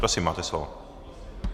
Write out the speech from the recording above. Prosím, máte slovo.